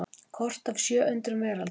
Kort af sjö undrum veraldar.